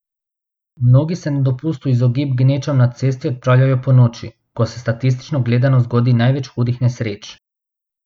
Mnogi se na dopust v izogib gnečam na cesti odpravljajo ponoči, ko se statistično gledano zgodi največ hudih nesreč.